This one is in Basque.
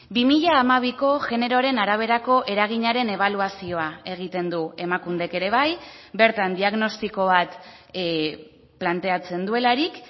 bi mila hamabiko generoaren araberako eraginaren ebaluazioa egiten du emakundek ere bai bertan diagnostiko bat planteatzen duelarik